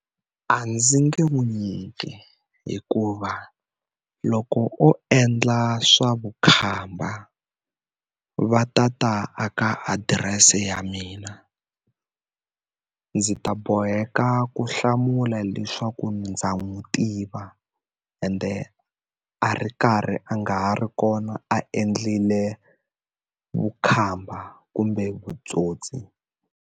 A ndzi nge n'wi nyiki hikuva, loko o endla swa vukhamba va ta ta aka adirese ya mina. Ndzi ta boheka ku hlamula leswaku ndza n'wi tiva, ende a ri karhi a nga ha ri kona a endlile vukhamba kumbe vutsotsi.